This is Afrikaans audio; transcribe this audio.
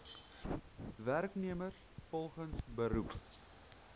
werknemers volgens beroep